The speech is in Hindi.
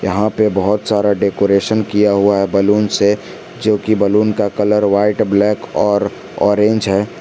यहाँ पे बहोत सारा डेकोरेशन किया हुआ है बैलून से जो की बैलून का कलर वाइट ब्लैक और ऑरेंज है।